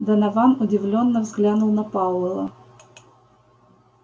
донован удивлённо взглянул на пауэлла